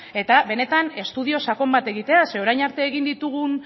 eta benetan estudio sakon bate egitea zeren orain arte egin ditugun